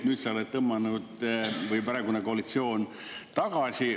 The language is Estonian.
Nüüd sa oled või praegune koalitsioon on tõmmanud tagasi.